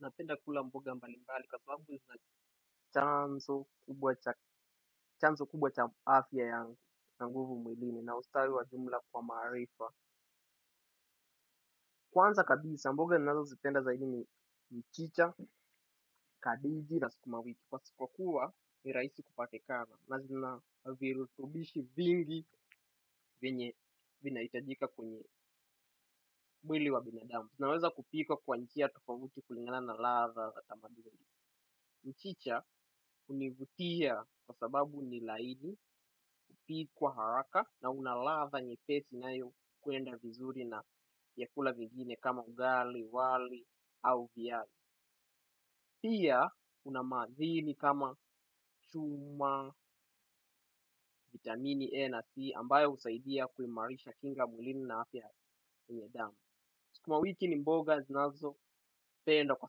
Napenda kula mboga mbali mbali kwa sababu zina chanzo kubwa cha afya yangu na nguvu mwilini na ustawi wa jumla kwa marifa. Kwanza kabisi, mboga ninazo zipenda zaidi ni mchicha, kabeji na skumawiti. Pasipokuwa, ni raihsi kupitakana na zina virutubishi vingi vyenye vinahitajika kwenye mwili wa binadamu. Unaweza kupikwa kwa nija tofauti kulingana na ladha mchicha hunivutia kwa sababu ni laini hupikwa haraka na una ladha nyepesi unaokwenda vizuri na vyakula vingine kama ugali wali ama viazi. Pia una madhini kama chuma, vitamini E na C ambayo husaidia kuimarisha kinga mwlini na afya ya nidhamu. Sukumawiki ni mboga zinazo penda kwa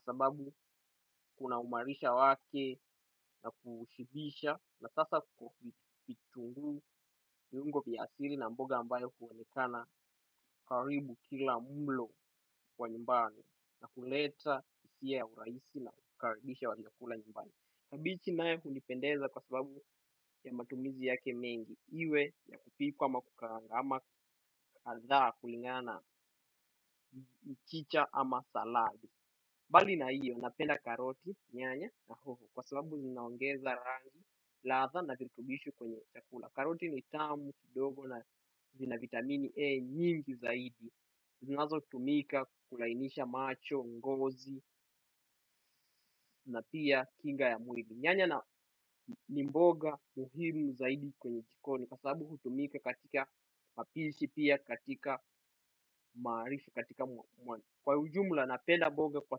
sababu kuna umarisha wake na kushibisha na sasa itungu viungo vya asili na mboga ambayo huonekana karibu kila mlo kwa nyumbani na kuleta husia ya urahisi na hukaribisha wakikula nyumbani. Kabichi nae hunipendeza kwa sababu ya matumizi yake mengi. Iwe ya kupipwa ama kukaanga ama aldhaa kulingana mchicha ama saladi. Bali na iyo napenda karoti nyanya na hoho kwa sababu zinaongeza rani ladha na virutubishu kwenye chakula. Karoti ni tamu kidogo na vina vitamini E nyingi zaidi. Zinazo tumika kulainisha macho, ngozi na pia kinga ya mwili. Nyanya ni mboga muhimu zaidi kwenye jikoni, kwa sababu hutumika katika mapishi pia, katika marifu, katika mwani. Kwa ujumla napenda mboga kwa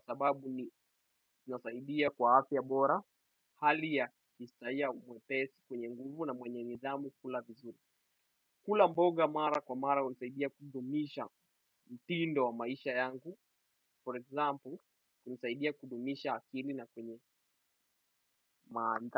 sababu unasaidia kwa afya bora hali ya kujisikia mwenye mwepesi mwenye nguvu na mwenye nidhamu kukula vizuri. Kula mboga mara kwa mara hunisaidia kudumisha mtindo wa maisha yangu, for example, hunisaidia kudumisha akili na kwenye maanda.